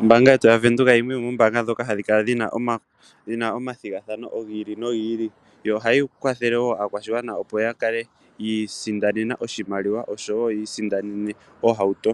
Ombanga yetu ya venduka oyo yimwe yomoombanga dhoka hashi kala dhina omathigathano giili no giili,. yo ohayi kwathele wo aakwashigwana opo ya kale okwii sindanena oshimaliwa osho wo yiisindannene oohauto.